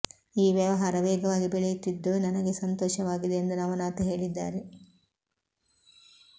ಈ ವ್ಯವಹಾರ ವೇಗವಾಗಿ ಬೆಳೆಯುತ್ತಿದ್ದು ನನಗೆ ಸಂತೋಷವಾಗಿದೆ ಎಂದು ನವನಾಥ್ ಹೇಳಿದ್ದಾರೆ